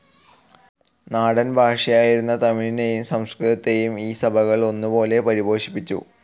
നാടൻ ഭാഷയായിരുന്ന തമിഴിനെയും സംസ്കൃതത്തെയും ഈ സഭകൾ ഒന്നുപോലെ പരിപോഷിപ്പിച്ചു.